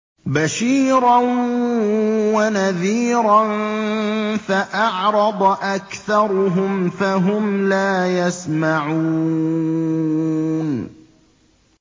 بَشِيرًا وَنَذِيرًا فَأَعْرَضَ أَكْثَرُهُمْ فَهُمْ لَا يَسْمَعُونَ